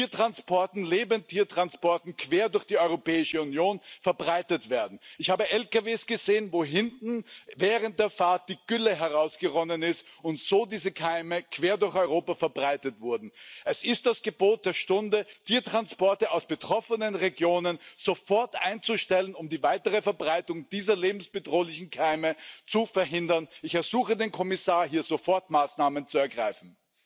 Voorzitter, ik dank de rapporteur voor de goede samenwerking, ik mag wel zeggen een bijzonder goede samenwerking. We staan voor een groot probleem, een probleem dat ons bestaan bedreigt. We staan er niet voldoende bij stil. Antibioticaresistente bacteriën kunnen tot 2050 een bedreiging worden die onze hele moderne samenleving ontwricht, zoals de financiële crisis van 2008. Wanneer komt de Europese Commissie en de OECD eens met de werkelijke actuele overlijdensstatistieken van de antibioticaresistentie? Commissaris, u sprak